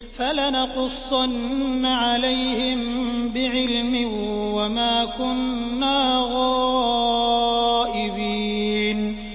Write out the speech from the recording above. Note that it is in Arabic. فَلَنَقُصَّنَّ عَلَيْهِم بِعِلْمٍ ۖ وَمَا كُنَّا غَائِبِينَ